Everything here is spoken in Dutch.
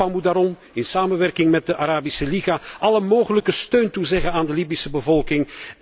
Europa, moet daarom in samenwerking met de Arabische Liga alle mogelijke steun toezeggen aan de Libische bevolking.